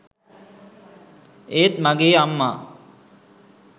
ඒත් මගේ අම්මා